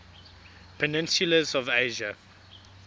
peninsulas of asia